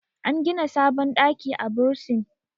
an gida sabon ɗaki a bursin